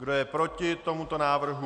Kdo je proti tomuto návrhu?